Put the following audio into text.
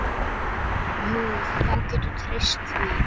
Jú, þú getur treyst því.